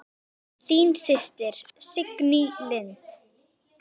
Þín systir, Signý Lind.